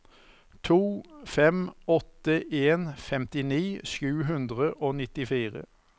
to fem åtte en femtini sju hundre og nittifire